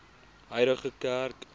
huidige kerk